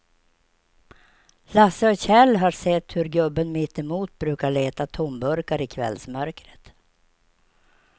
Lasse och Kjell har sett hur gubben mittemot brukar leta tomburkar i kvällsmörkret.